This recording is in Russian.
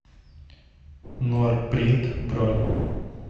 норпринт бронь